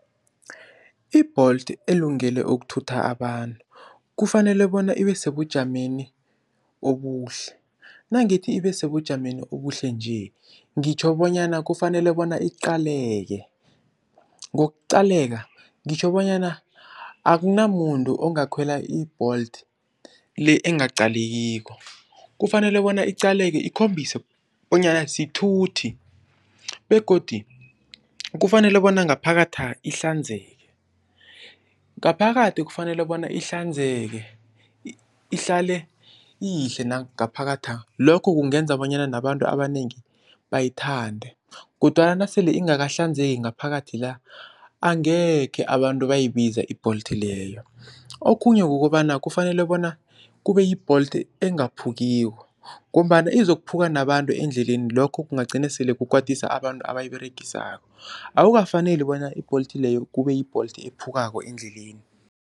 I-Bolt elungele ukuthutha abantu kufanele bona ibe sebujameni obuhle, nangithi ibe sebujameni obuhle nje ngitjho bonyana kufanele bona iqaleke. Ngokuqaleka ngitjho bonyana akunamuntu ongakhwela i-Bolt le engaqalekiko kufanele bona iqaleke ikhombise bonyana sithuthi begodu kufanele bona ngaphakatha ihlanzeke. Ngaphakathi kufanele bona ihlanzeke, ihlale iyihle nangaphakatha lokho kungenza bonyana nabantu abanengi bayithande kodwana nasele ingakahlanzeki ngaphakathi la angekhe abantu bayibiza i-Bolt leyo. Okhunye kukobana kufanele bona kube yi-Bolt engaphukiko ngombana izokukhuphuka nabantu endleleni lokho kungagcina sele kukwatisa abantu abayiberegisako, akukafaneli bona i-Bolt leyo kube yi-Bolt ephukako endleleni.